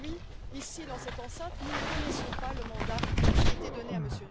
Aujourd'hui ici, dans cette enceinte, nous ne connaissons pas le mandat qui a été donné à M.